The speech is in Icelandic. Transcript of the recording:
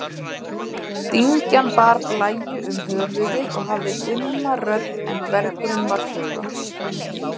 Dyrgjan bar blæju um höfuðið og hafði dimma rödd en dvergurinn var þögull.